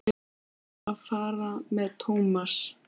Leyfðu mér að fara með Thomas.